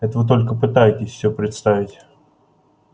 это вы только пытаетесь всё представить